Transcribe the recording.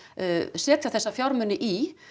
setja þessa fjármuni í